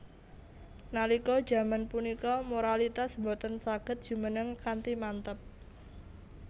Nalika jaman punika moralitas boten saged jumeneng kanthi manteb